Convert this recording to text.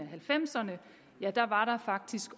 halvfemserne faktisk